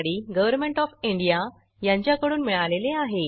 government of India यांच्याकडून मिळालेले आहे